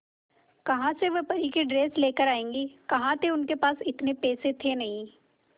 कहां से वह परी की ड्रेस लेकर आएगी कहां थे उनके पास इतने पैसे थे नही